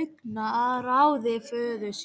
augnaráði föður síns.